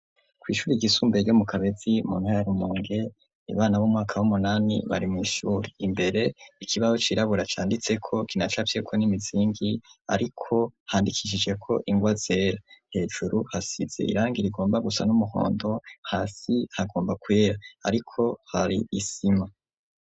Kw'ishuri ry'isumbuye ryo mu kabezi mu ntara ya Rumonge ibana b'umwaka w'umunani bari mu ishuri imbere ikibaho cirabura cyanditse ko kinacapye ko n'imizingi ariko handikishije ko ingwa ze hejuru hasize irangi rigomba gusa n'umuhondo hasi hagomba kweya ariko hari isima.